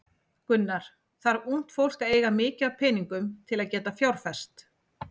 Gunnar: Þarf ungt fólk að eiga mikið af peningum til að geta fjárfest?